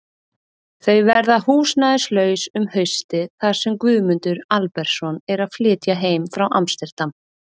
Þau verða húsnæðislaus um haustið þar sem Guðmundur Albertsson er að flytja heim frá Amsterdam.